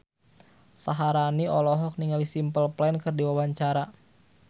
Syaharani olohok ningali Simple Plan keur diwawancara